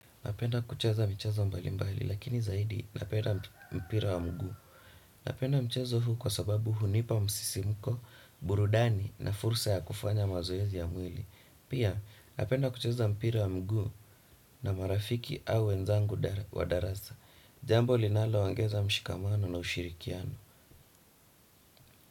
Napenda kucheza michezo mbali mbali, lakini zaidi napenda mpira wa mguu. Napenda mchezo huu kwa sababu hunipa msisimko, burudani na fursa ya kufanya mazoezi ya mwili. Pia, napenda kucheza mpira wa mguu na marafiki au wenzangu wa darasa. Jambo linaloongeza mshikamano na ushirikiano.